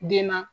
Den na